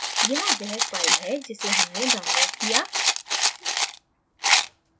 यहाँ वह file है जिसे हमने downloaded किया